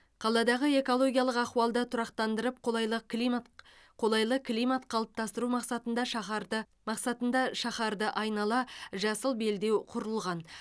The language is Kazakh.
қаладағы экологиялық ахуалды тұрақтандырып қолайлық климат қолайлы климат қалыптастыру мақсатында шаһарды мақсатында шаһарды айнала жасыл белдеу құрылған